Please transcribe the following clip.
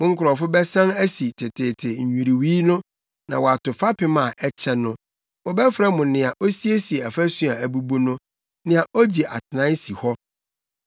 Mo nkurɔfo bɛsan asi teteete nnwiriwii no, na wɔato fapem a akyɛ no; wɔbɛfrɛ mo Nea Osiesie Afasu a Abubu no, Nea Ogye Atenae Si Hɔ.